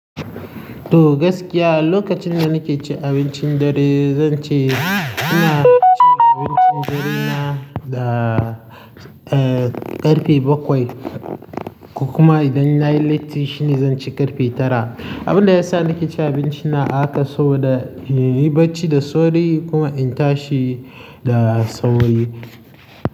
To gaskiya, lokacin da nake cin abincin dare, zan ce ina cin abincin dare na da, eh, ƙarfe bakwai. Kuma idan nayi latti shi ne zan ci ƙarfe tara. Abin da ya sa nake cin abinci na haka so da in yi bacci da sauri kuma in tashi da sauri.